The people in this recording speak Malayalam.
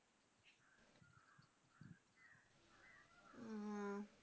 മ്